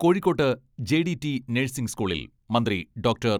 കോഴിക്കോട്ട് J D T nursing സ്കൂളിൽ മന്ത്രി ഡോക്ടർ.